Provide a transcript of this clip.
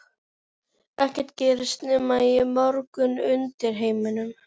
Ekkert gerist nema í morknum undirheimum.